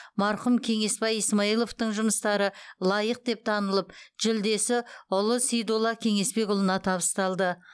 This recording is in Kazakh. марқұм кеңесбай исмайловтың жұмыстары лайық деп танылып жүлдесі ұлы сейдулла кеңесбекұлына табысталды